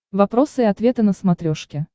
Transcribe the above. вопросы и ответы на смотрешке